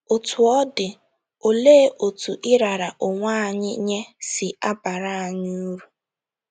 Otú ọ dị, olee otú ịrara onwe anyị nye si abara anyị uru??